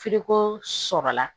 F'i ko sɔrɔ la